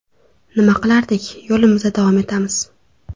Nima qilardik, yo‘limizda davom etamiz.